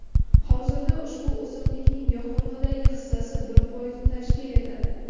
Hozirda ushbu o‘simlikning yoqilg‘idagi hissasi bir foizni tashkil etadi.